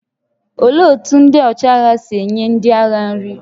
Olee otú ndị ọchịagha si nye ndị agha nri?